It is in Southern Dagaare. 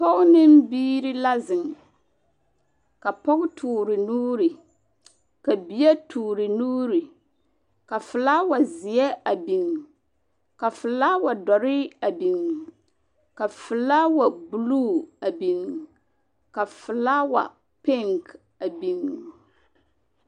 Pɔge ne biiri la zeŋ. Kaa pɔge toore nuuri, ka bie toore nuuri, ka felawazeɛ a biŋ, Ka felawa dɔre a biŋ, ka felawa buluu a biŋ, ka felawa peŋk a biŋ.